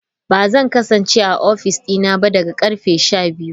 Ba zan kasance a Office dina ba daga karfe 12.